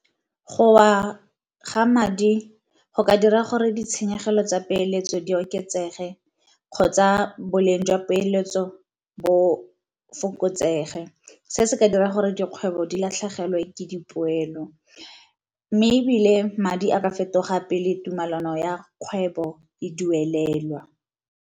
Go wa ga madi go ka dira gore ditshenyegelo tsa peeletso di oketsege, kgotsa boleng jwa peeletso bo fokotsege. Se se ka dira gore dikgwebo di latlhegelwe ke dipoelo, mme ebile madi a ka fetoga pele tumelano ya kgwebo e duelelwa.